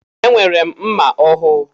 Enwere m mma ọhụụ.